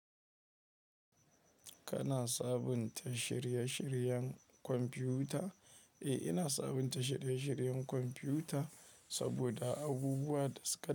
Kana sabunta shirye-shiryen kwamfiyuta? Eh, ina sabunta shirye-shiryen kwamfiyuta saboda abubuwa da suka.